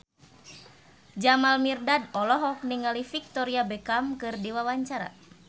Jamal Mirdad olohok ningali Victoria Beckham keur diwawancara